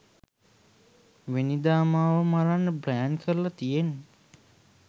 වෙනිදා මාව මරන්න ප්ලැන් කරලා තියෙන්නේ.